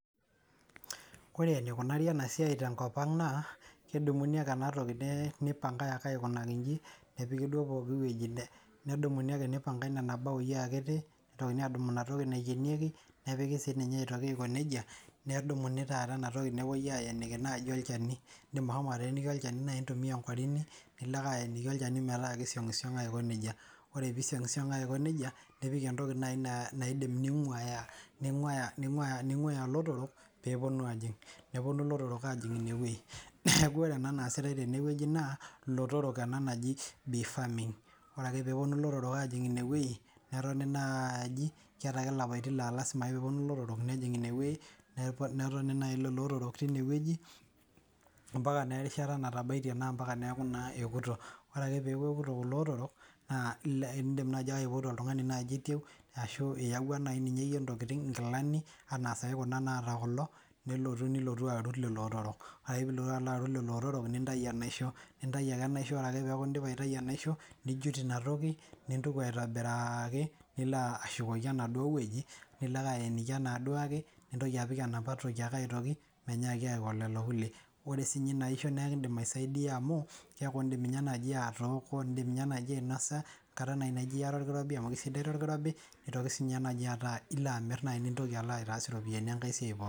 Kore neikunari ena siai tenkopang naa kedumuni ake enatoki neipangae ake aikunaki inji, nepiki duo pooki wueji, nedumuni ake neipangae nena baoi akiti, neitokini aadumu inatoki naikenieki, nepiki sii ninye aitoki aikoneja, nedumuni taata inatoki nepoi aaeniki naaji olcheni, Indim ashomo ateeniki naaji olcheni anaa intumia onkorini, nilo ake aeniki olcheni mataa keisiang'u sang'u aikoneja. Ore peisiang'usiang'u aikoneja nipik entoki nai naidim neing'uaya lotorrok peeponu aaajing'. Neponu lotorok aajing' ineweji ,neaku ore ena naasitae teneweji naa lotorok ana naji bee farming. Ore ake peeponu lototrok aajing' inewueji netoni naaji, keatae ake ilapatin laa lasima peeponu lotorok nejing' inewueji, netoni nai ilo lotorok teineweji ompaka naa erishata natabaite anaa ompaka neaku naa epoto, ore ake peaku epoto kulo lotorok naa indim naaji aipoto oltungani naaji oiteu ashu iyeuwa naa ninye iyie ntokitin, nkilani anaa saii kuna naata kulo, nilotu alotu aarut lelo lotorok. Ore indipa nai lelo lotorok nintayu enaisho, nintai ake enaisho ore ake peaku indipa aitai inaisho, nijut inatoki nintuko aitobiraaki, nilo ashukoki enaduo toki, nilo ake aeniki enaduake, nintoki apik enapa toki ake aitoki, meinyaai aiko lelo kulie. Ore sii ninye ina aisho naa indim aisaidia amu indim ninye naaji atooko, indim ninye naaji ainoso nkata naji ieta olkirobi, neitoki sii ninye naji ataa ilo amir nintoki alo aitaas iropiyiani enkae siai pooki.